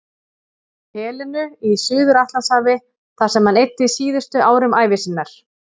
Helenu í Suður-Atlantshafi þar sem hann eyddi síðustu árum ævi sinnar.